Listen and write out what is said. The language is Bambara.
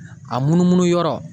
A munumunu yɔrɔ